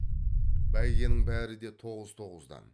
бәйгенің бәрі де тоғыз тоғыздан